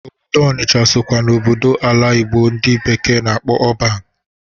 Obodo Ọnịsha sokwa na obodo ala Igbo ndị bekee na-akpọ ọban.